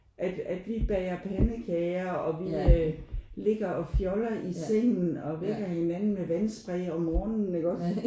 At at vi bager pandekager og vi øh ligger og fjoller i sengen og vækker hinanden med vandspray om morgenen iggås